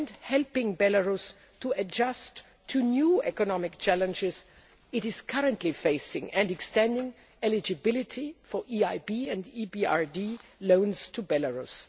helping Belarus to adjust to the new economic challenges it is currently facing and extending eligibility for EIB and EBRD loans to Belarus